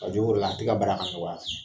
a tɛ ka baara ka nɔgɔya fɛnɛ